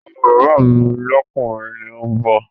Ọmọ bàbá mi lọ́kùnrin ni òun bọ̀